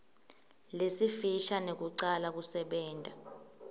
lesifisha nekucala kusebenta